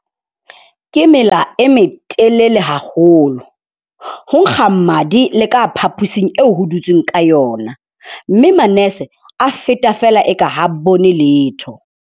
Ke mela e metelele haholo, ho nkga madi le ka phapusing eo ho dutsweng ka yona mme manese a feta feela e ka ha bone letho.